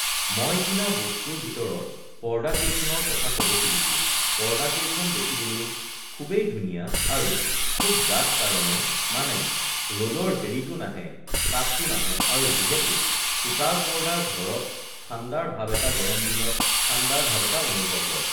মই কিনা বস্তুৰ ভিতৰত পৰ্দা কেইখনৰ কথা ক'ব খুজিছোঁ পৰ্দাকেইখন দেখিবলৈ খুবেই ধুনীয়া আৰু খুব ডাঠ কাৰণে মানে ৰ'দৰ হেৰিটো নাহে তাপটো নাহে আৰু যিহেতু সূতাৰ পৰ্দা ঘৰত ঠাণ্ডাৰ ভাৱ এটা গৰম দিনত ঠাণ্ডাৰ ভাৱ এটা অনুভৱ হয়